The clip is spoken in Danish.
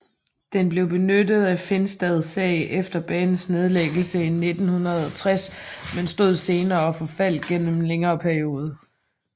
Den blev benyttet af Finstad sag efter banens nedlæggelse i 1960 men stod senere og forfaldt gennem en længere periode